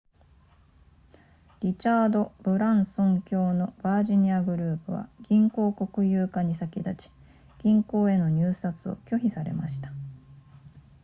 リチャードブランソン卿のヴァージングループは銀行国有化に先立ち銀行への入札を拒否されました